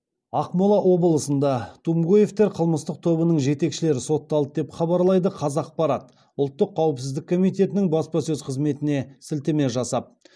ақмола облысында тумгоевтер қылмыстық тобының жетекшілері сотталды деп хабарлайды қазақпарат ұлттық қауіпсіздік комитетінің баспасөз қызметіне сілтеме жасап